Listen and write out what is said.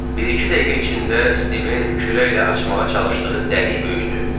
Bir-iki dəqiqə içində Stivin kürəklə açmağa çalışdığı dəlik böyüdü.